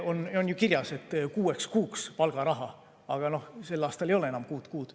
On soov saada kuueks kuuks palgaraha, aga sel aastal ei ole enam kuut kuud.